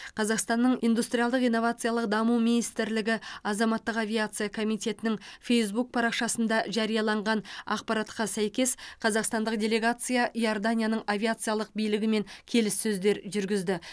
қазақстанның индустриялдық инновациялық даму министрлігі азаматтық авиация комитетінің фейзбук парақшасында жарияланған ақпаратқа сәйкес қазақстандық делегация иорданияның авиациялық билігімен келіссөздер жүргізді